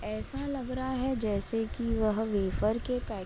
ऐसा लग रहा है जैसे कि वह वेफर के पैक --